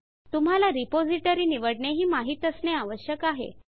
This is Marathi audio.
तुम्हाला रिपॉज़िटरी निवडणे हि माहित असणे आवश्यक आहे